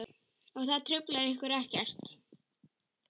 Og það truflar ykkur ekkert?